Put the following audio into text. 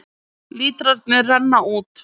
Lítrarnir renna út